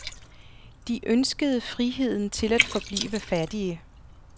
De ønskede friheden til at forblive fattige.